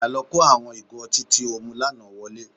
Padà lọ kó igò ọtí tí o mu lánàá wọlé